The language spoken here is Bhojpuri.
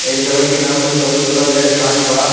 एक जगहि के नाम बा चौरी चौरा। ओइजा के कांड बा।